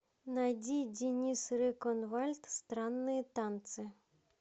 найди денис реконвальд странные танцы